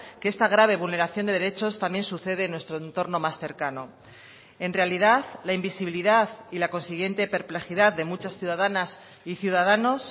que esta grave vulneración de derechos también sucede en nuestro entorno más cercano en realidad la invisibilidad y la consiguiente perplejidad de muchos ciudadanas y ciudadanos